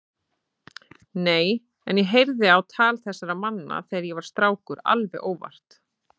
Nei, en ég heyrði á tal þessara manna þegar ég var strákur alveg óvart.